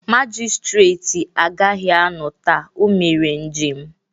Magịstretị agaghị anọ taa, o mere njem